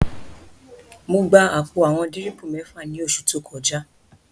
Mo gba àpò àwọn dírìpù mẹ́fà ní oṣù tó kọjá